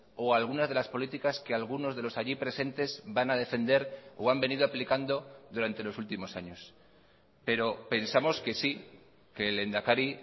o algunas de las políticas que algunos de los allí presentes van a defender o han venido aplicando durante los últimos años pero pensamos que sí que el lehendakari